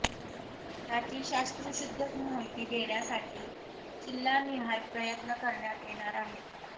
त्याची शास्त्रशुद्ध माहिती देण्यासाठी जिल्हानिहाय प्रयत्न करण्यात येणार आहेत